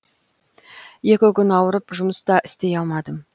екі күн ауырып жұмыс та істей алмадым